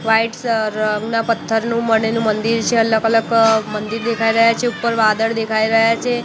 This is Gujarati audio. વ્હાઇટ રંગના પથ્થરનું મણેલુ મંદિર છે અલગ અલગ મંદિર દેખાઈ રહ્યા છે ઉપર વાદળ દેખાઈ રહ્યા છે.